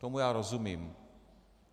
Tomu já rozumím.